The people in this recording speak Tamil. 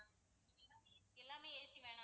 எல்லாமே AC வேணாமா